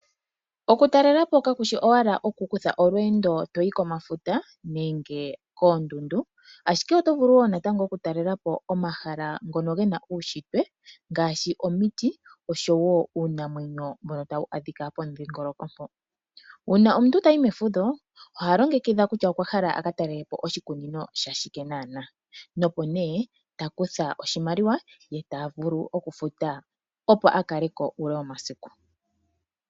Okutalela po kakushi owala oku kutha olweendo toyi komafuta nenge koondundu, ashike oto vulu wo oku talela po omahala ngono gena uushitwe ngaashi omiti oshowo uunamwenyo mbono tawu adhika pomudhingoloko mpoka. Uuna omuntu tayi mefudho oha longekidha kutya okwa hala aka talele po oshikunino sha shike naana nopo nee ta kutha oshimaliwa ye tavulu okufuta opo a kale ko uule womasiku.